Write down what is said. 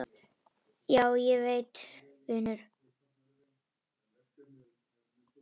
Já, ég veit vinur.